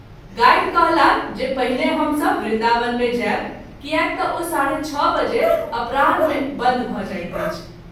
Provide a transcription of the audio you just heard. Guide कहलाह जे पहिने हम सभ वृन्दावन मे जायब कियाक त’ ओ ६.३० बजे अपराह्न मे बन्द भ’ जाइत अछि।